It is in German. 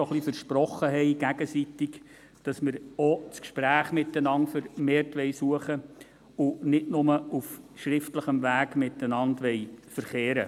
Auch versprachen wir uns dabei gegenseitig, das Gespräch miteinander vermehrt zu suchen und nicht mehr nur auf schriftlichem Weg miteinander zu verkehren.